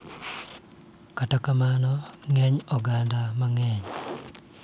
Kata kamano, ng�eny oganda mang�eny .